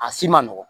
A si ma nɔgɔn